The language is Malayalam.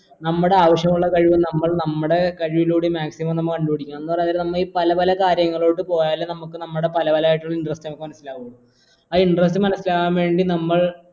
നമ്മടെ ആവശ്യമുള്ള ലൈവ് കഴിവ് നമ്മൾ നമ്മളുടെ കഴിവിലൂടെ maximum നമ്മ കണ്ടുപിടിക്കണം എന്ന് പറയുന്നരം നമ്മൾ ഈ പല പല കാര്യങ്ങളോട് പോയാൽ നമുക്ക് നമ്മുടെ പല പല interest കൾ മനസിലാകൂ ആ interest മനയിലാകാൻ വേണ്ടി നമ്മൾ